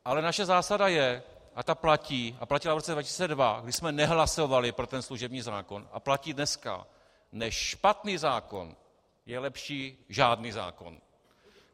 Ale naše zásada je, a ta platí a platila v roce 2002, kdy jsme nehlasovali pro ten služební zákon, a platí dneska: než špatný zákon, je lepší žádný zákon.